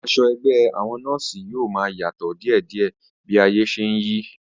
Aṣọ ẹgbẹ́ àwọn nọ́ọ̀sí yóò máa yàtọ̀ díèdíẹ̀ bí ayé ṣe n yí